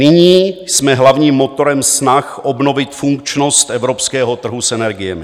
Nyní jsme hlavním motorem snah obnovit funkčnost evropského trhu s energiemi.